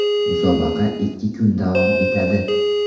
Musobaqa ikki kun davom etadi.